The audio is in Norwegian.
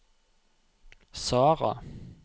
Sara